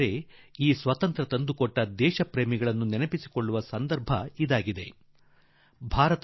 ಆದರೆ ಈ ಸ್ವಾತಂತ್ರ್ಯ ತಂದುಕೊಟ್ಟ ಮಹಾನ್ ವ್ಯಕ್ತಿಗಳನ್ನು ಸ್ಮರಿಸುವ ಸಂದರ್ಭ ಇದಾಗಿದೆ